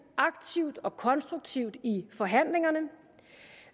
aktivt og konstruktivt i forhandlingerne